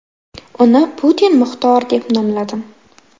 Uni Putin Muxtor deb nomladim.